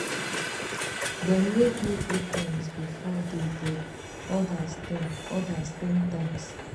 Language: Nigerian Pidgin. dem rape me eight times before day break odas ten odas ten times